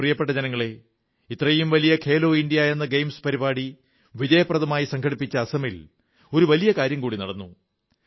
പ്രിയപ്പെട്ട ജനങ്ങളേ ഇത്രയും വലിയ ഖേലോ ഇന്ത്യാ എന്നെ ഗെയിംസ് പരിപാടി വിജയപ്രദമായി സംഘടിപ്പിച്ച അസമിൽ ഒരു വലിയ കാര്യം കൂടി നടന്നു